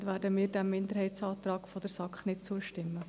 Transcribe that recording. Entsprechend werden wir dem Minderheitsantrag der SAK nicht zustimmen.